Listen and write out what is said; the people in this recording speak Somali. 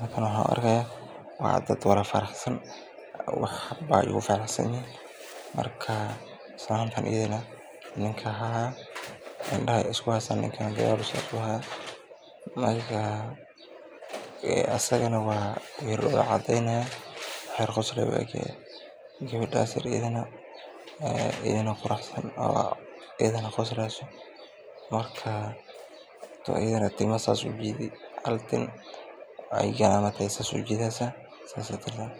laciyaaro, waa dad wada faraxsan, islaanta ayadana indaha ayeey isku haysa, gabada quruxsan ayadana waay qosleysa, tu ayadana hal tin ayeey kor ujideesa.